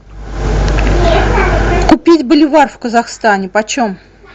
купить боливар в казахстане почем